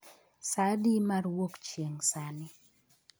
saa adi mar wuok chieng ' sani